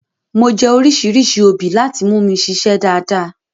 Mo jẹ́ oríṣìíríṣìí obì láti mú mi ṣiṣé dáadáa.